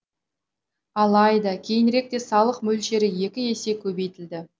алайда кейініректе салық мөлшері екі есе көбейтілді